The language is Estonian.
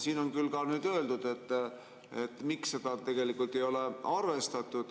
Siin on küll öeldud, miks seda tegelikult ei ole arvestatud.